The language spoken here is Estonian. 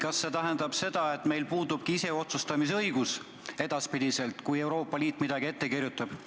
Kas see tähendab, et meil puudubki edaspidi ise otsustamise õigus, kui Euroopa Liit midagi ette kirjutab?